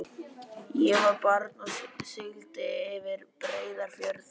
Ég var barn og sigldi yfir Breiðafjörð.